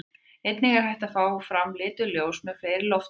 Einnig er hægt að fá fram lituð ljós með fleiri lofttegundum.